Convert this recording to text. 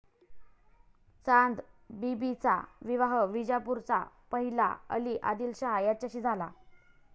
चांदबिबीचा विवाह विजापूरचा पहिला अली आदिलशाह याच्याशी झाला.